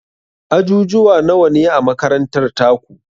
Ajujuwa nawane a makarantar taku?